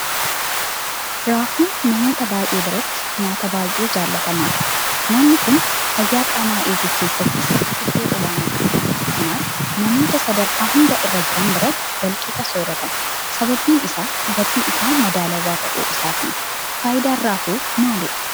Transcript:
Raafuun namoota baay'ee biratti nyaata baay'ee jaalatamaadha. Nyaanni kun fayyaa qaamaa eeguu keessattis iddoo olaanaa qaba. kanaaf namoota sadarkaa hunda irra jiran biratti walqixa sooratama. Sababni isaas gatiin isaa madaalawaa ta'uu isaatiini. Faayidaan Raafuu maalidha?